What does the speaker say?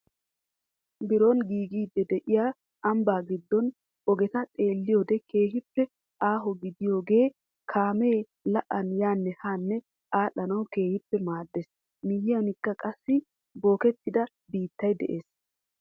Biron giigidi de'iyaa ambbaa giddo ogeta xeelliyoode keehippe aaho gidagee kaamee la'an yaanne haa adhdhanawu keehippe maaddees. miyiyankka qassi bookettida biittay de'ees.